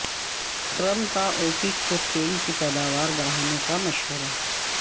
Trump کا OPEC کو تیل کی پیداوار بڑھانے کا مشورہ